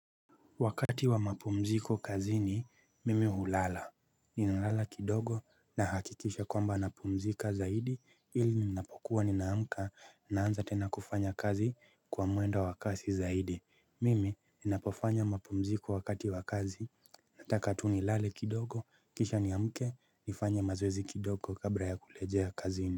Wakati wa mapumziko kazini mimi hulala ninalala kidogo nahakikisha kwamba napumzika zaidi ili ninapokuwa ninaamka naanza tena kufanya kazi kwa mwendo wa kasi zaidi. Mimi ninapofanya mapumziko wakati wa kazi nataka tu nilale kidogo kisha niamke nifanye mazoezi kidogo kabla ya kurejea kazini.